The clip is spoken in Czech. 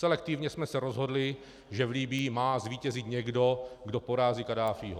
Selektivně jsme se rozhodli, že v Libyi má zvítězit někdo, kdo porazí Kaddáfího.